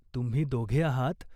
तुम्ही दोघे आहात.